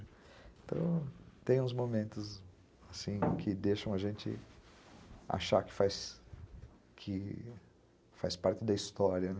Então, tem uns momentos, assim, que deixam a gente achar que faz que faz parte da história, né?